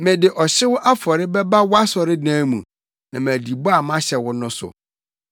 Mede ɔhyew afɔre bɛba wʼasɔredan mu na madi bɔ a mahyɛ wo no so,